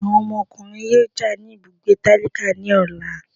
Awọn ọmọkùnrin yóò já ní ibùgbé tálákà ní ọla